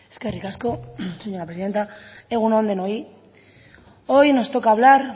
eskerrik asko señora presidenta egun on denoi hoy nos toca hablar